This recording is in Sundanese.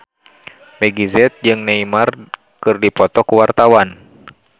Meggie Z jeung Neymar keur dipoto ku wartawan